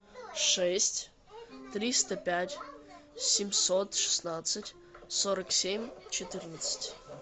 шесть триста пять семьсот шестнадцать сорок семь четырнадцать